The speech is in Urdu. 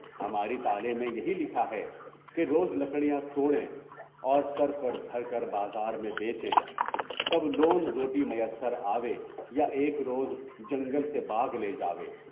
ہماری طالع میں یہی لکھا ہے کہ روز لکڑیاں توڑیں اور سر پر دھار کر بازار میں بیچیں، تب ہی لون روٹی میسر آئے، مگر ایک روز جنگل سے باغ لے جائیں۔